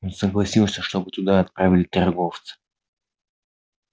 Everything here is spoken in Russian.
он согласился чтобы туда отправили торговца